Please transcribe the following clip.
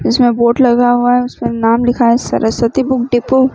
उसमे बोर्ड लगा हुआ है उसमे नाम लिखा है सरस्वती बुक डिपो --